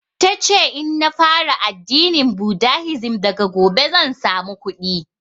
Tace in na fara addinin budahisim daga gobe zan samu kuɗi